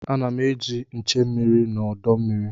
A na m eji nche mmiri n'udu mmiri.